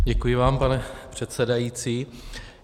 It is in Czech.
Děkuji vám, pane předsedající.